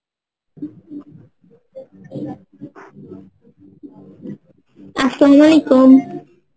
Arbi